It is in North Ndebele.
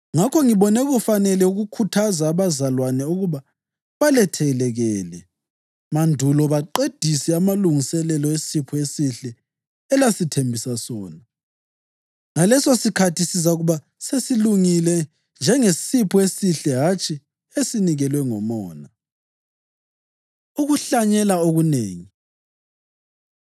Ngakho ngibone kufanele ukukhuthaza abazalwane ukuba balethekelele mandulo baqedise amalungiselelo esipho esihle elasithembisa sona. Ngalesosikhathi sizakuba sesilungile njengesipho esihle hatshi esinikelwe ngomona. Ukuhlanyela Okunengi